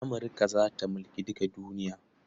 Amurka za ta mulki duka duniya.